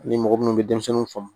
Ni mɔgɔ minnu bɛ denmisɛnninw faamu